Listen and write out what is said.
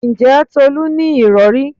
Ǹjẹ́ Tolú ní ìrọ̀rí?